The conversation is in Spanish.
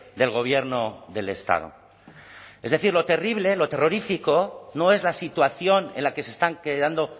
del gobierno del estado es decir lo terrible lo terrorífico no es la situación en la que se están quedando